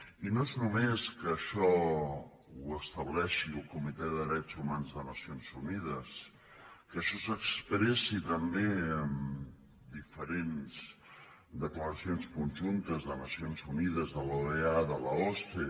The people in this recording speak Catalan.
i no és només que això ho estableixi el comitè de drets humans de nacions unides que això s’expressi també en diferents declaracions conjuntes de nacions unides de l’oea de l’osce